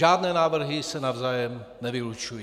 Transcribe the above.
Žádné návrhy se navzájem nevylučují.